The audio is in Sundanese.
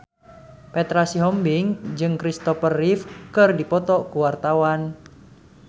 Petra Sihombing jeung Kristopher Reeve keur dipoto ku wartawan